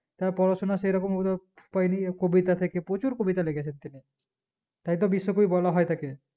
তার পড়াশোনা সেরকম পাইনি কবিতা থেকে প্রচুর কবিতা লিখেছেন তিনি তাই তো বিশ্বকবি বলা হয় তাকে